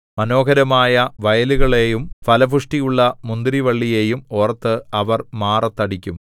മനോഹരമായ വയലുകളെയും ഫലപുഷ്ടിയുള്ള മുന്തിരിവള്ളിയെയും ഓർത്ത് അവർ മാറത്ത് അടിക്കും